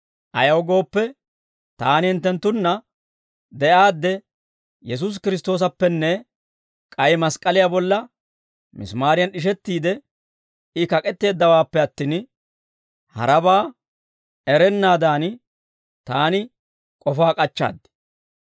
Ayaw gooppe, taani hinttenttunna de'aadde, Yesuusi Kiristtoosappenne k'ay mask'k'aliyaa bolla misimaariyan d'ishettiide I kak'etteeddawaappe attin, harabaa erennaadan, ta k'ofaa k'achchaad.